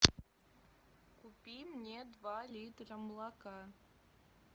купи мне два литра молока